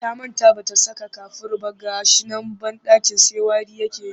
Ta manta ba ta saka kafur ba ga shi nan banɗakin sai wari yake yi